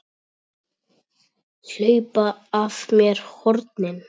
Hlaupa af mér hornin.